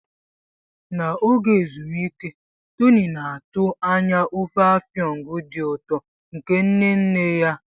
N'oge ezumike, Tony na-atụ anya ofe Afang dị ụtọ nke nne nne ya.